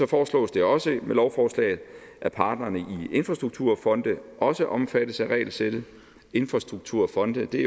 foreslås det også med lovforslaget at parterne i infrastrukturfonde også omfattes af regelsættet infrastrukturfonde er